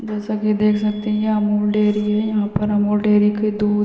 जैसा कि देख सकते है ये अमूल डेरी है यहां पर अमूल डेरी के दूध -